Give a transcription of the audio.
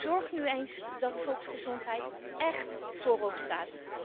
Zorg nu eens dat volksgezondheid écht voorop staat.